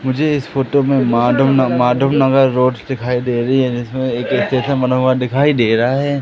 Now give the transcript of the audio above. मुझे इस फोटो में माधव माधव नगर रोड दिखाई दे रही है जिसमें एक स्टेशन बना हुआ दिखाई दे रहा हैं।